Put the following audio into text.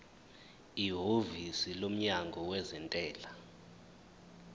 ihhovisi lomnyango wezentela